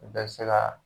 U bɛɛ bɛ se ka